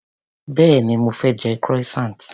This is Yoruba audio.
Béèni mo fé je croissant.